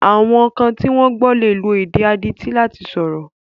Àwọn kan tí wọ́n gbọ́ lè lo èdè àwọn adití láti sọ̀rọ̀.